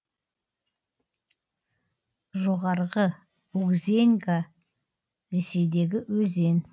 жоғарғы угзеньга ресейдегі өзен